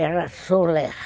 Era Soler.